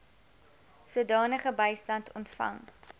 sodanige bystand ontvang